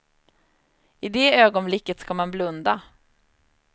I det ögonblicket ska man blunda.